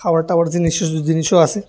খাওয়ার টাওয়ার জিনিস জিনিসও আছে।